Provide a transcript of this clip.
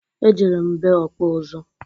Ejere m be ọkpụ ụzụ.